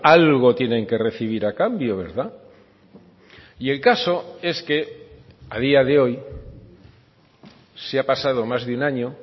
algo tienen que recibir a cambio verdad y el caso es que a día de hoy se ha pasado más de un año